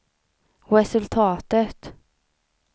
resultatet